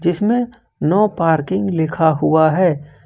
इसमें no parking लिखा हुआ है।